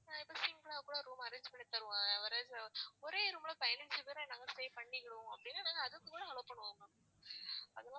அதே மாதிரி single லா கூட room arrange பண்ணி தருவோம். ஆஹ் ஒரே room ல பதினைஞ்சு பேரு நாங்க stay பண்ணிக்கிடுவோம் அப்படின்னா நாங்க அதுக்கு கூட allow பண்ணுவோம்